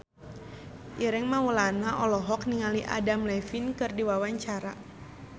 Ireng Maulana olohok ningali Adam Levine keur diwawancara